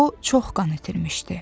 O çox qan itirmişdi.